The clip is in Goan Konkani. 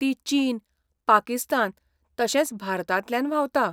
ती चीन, पाकिस्तान, तशेंच भारतांतल्यान व्हांवता.